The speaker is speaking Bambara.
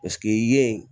Paseke yen